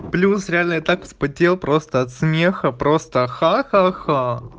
плюс реально я так вспотел просто от смеха просто ха ха ха